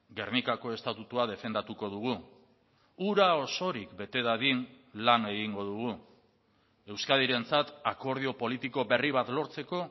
gernikako estatutua defendatuko dugu hura osorik bete dadin lan egingo dugu euskadirentzat akordio politiko berri bat lortzeko